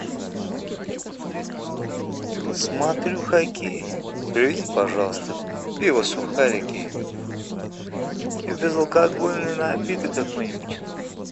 смотрю хоккей привези пожалуйста пиво сухарики и безалкогольный напиток какой нибудь